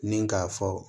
Ni k'a fɔ